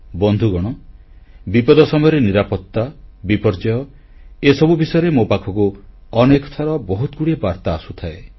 ବନ୍ଧୁଗଣ ବିପଦ ସମୟରେ ନିରାପତ୍ତା ବିପର୍ଯ୍ୟୟ ଏସବୁ ବିଷୟରେ ମୋ ପାଖକୁ ଅନେକ ଥର ବହୁତଗୁଡ଼ିଏ ବାର୍ତ୍ତା ଆସୁଥାଏ